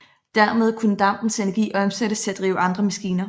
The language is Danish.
Dermed kunne dampens energi omsættes til at drive andre maskiner